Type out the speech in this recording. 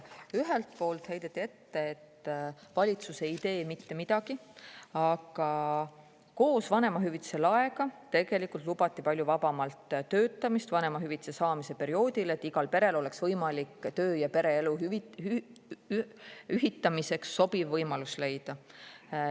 Ühelt poolt heideti ette, et valitsus ei tee mitte midagi, aga koos vanemahüvitise laega tegelikult lubati palju vabamalt töötamist vanemahüvitise saamise perioodil, et igal perel oleks võimalik töö- ja pereelu ühitamiseks sobiv võimalus leida.